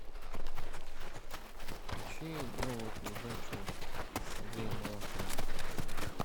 включи новую передачу с андреем малаховым